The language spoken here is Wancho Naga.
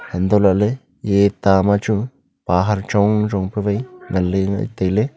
hantoh lahley eye ta ma chu pahar chong chong pe wai ngan ley ley tailey.